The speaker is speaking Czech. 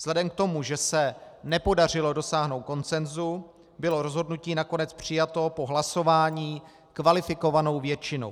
Vzhledem k tomu, že se nepodařilo dosáhnout konsenzu, bylo rozhodnutí nakonec přijato po hlasování kvalifikovanou většinou.